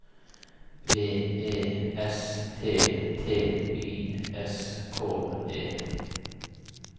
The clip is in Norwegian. V E S T T Y S K E